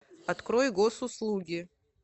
открой госуслуги